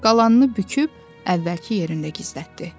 Qalanını büküb əvvəlki yerində gizlətdi.